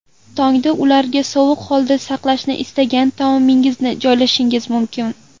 Tongda ularga sovuq holda saqlashni istagan taomingizni joylashingiz mumkin.